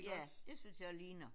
Ja det synes jeg ligner